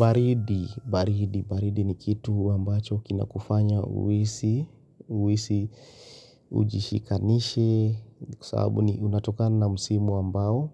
Baridi, baridi, baridi ni kitu ambacho kina kufanya uhisi, uhisi ujishikanishe, kwa sababu ni unatokana na msimu ambao,